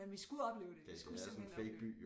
Men vi skulle opleve det vi skulle simpelthen opleve det